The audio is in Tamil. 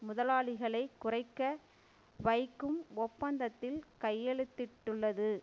முதலாளிகளை குறைக்க வைக்கும் ஒப்பந்தத்தில் கையெழுத்திட்டுள்ளது